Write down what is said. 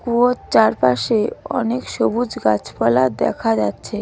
কুয়োর চারপাশে অনেক সবুজ গাছপালা দেখা যাচ্ছে.